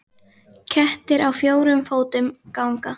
Kettir á fjórum fótum ganga.